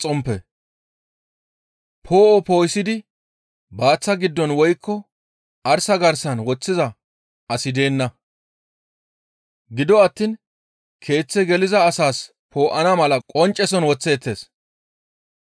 «Poo7o poo7isidi baaththa giddon woykko arsa garsan woththiza asi deenna; gido attiin keeththe geliza asas poo7ana mala qoncceson woththeettes.